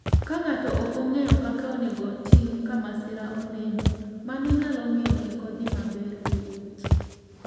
Ka ng'ato ok ong'eyo kaka onego otim ka masira oneno, mano nyalo miyo kik odhi maber e wuoth.